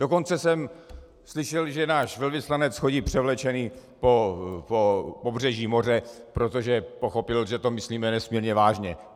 Dokonce jsem slyšel, že náš velvyslanec chodí převlečený po pobřeží moře, protože pochopil, že to myslíme nesmírně vážně.